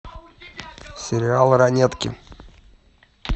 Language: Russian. сериал ранетки